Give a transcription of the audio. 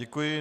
Děkuji.